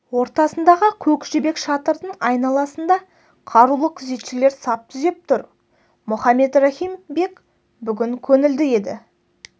ортасындағы көк жібек шатырдың айналасында қарулы күзетшілер сап түзеп тұр мұхаммед рахим бек бүгін көңілді еді